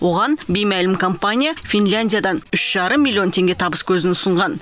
оған беймәлім компания финляндиядан үш жарым миллион теңге табыс көзін ұсынған